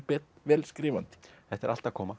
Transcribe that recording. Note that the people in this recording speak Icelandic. vel skrifandi þetta er allt að koma